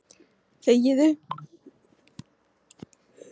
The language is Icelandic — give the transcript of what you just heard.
Góð dæmi og slæm